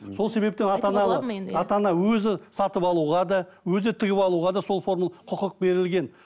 сол себептен ата анаға ата ана өзі сатып алуға да өзі тігіп алуға да сол форманы құқық берілген